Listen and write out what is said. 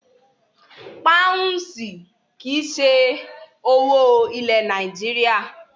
Páǹsì kí í ṣe owó ilẹ̀ Nàìjíríà.